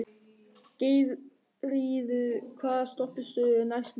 Geirríður, hvaða stoppistöð er næst mér?